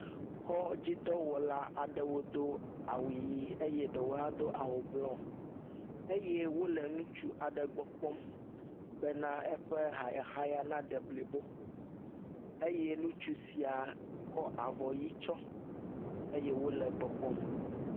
Kɔdzidɔwɔla aɖewo do awu ɣi eye eɖewo hã do awu bluɔ eye wole ŋutsu aɖe gbɔ kpɔm be eƒe hayahaya na de blibo eye ŋutsu sia kɔ avɔ mí tsɔ eye wole egbɔ kpɔm.